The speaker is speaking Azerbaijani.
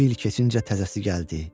İki il keçincə təzəsi gəldi.